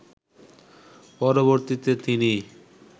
পরবর্তীতে তিনি